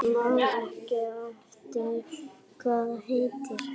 Man ekki hvað það heitir.